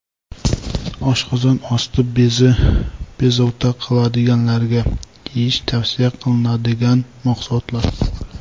Oshqozon osti bezi bezovta qiladiganlarga yeyish tavsiya qilinadigan mahsulotlar.